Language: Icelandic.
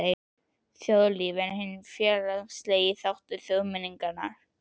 Þjóðlíf er hinn félagslegi þáttur þjóðmenningarinnar.